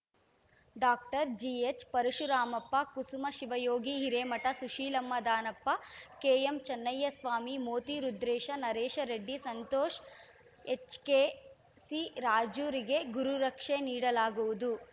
doctor GH Parashuramappa Kusuma Shivayogi Hiremath Sushilamma Danappa KM Channayyaswamy Moti Rudresha Naresha Reddy Santosha H K C ರಾಜುರಿಗೆ ಗುರುರಕ್ಷೆ ನೀಡಲಾಗುವುದು